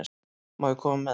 Má ég koma með þér?